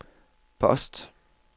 post